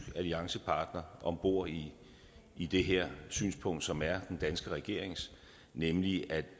alliancepartner om bord i i det her synspunkt som er den danske regerings nemlig at